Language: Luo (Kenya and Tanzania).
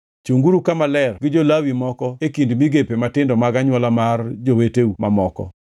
“Chunguru Kama Ler gi jo-Lawi moko e kind migepe matindo mag anywola mar joweteu mamoko.